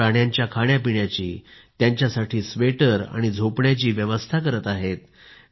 ते त्या प्राण्यांच्या खाण्यापिण्याची आणि त्यांच्यासाठी स्वेटर आणि झोपण्याची व्यवस्था करत आहेत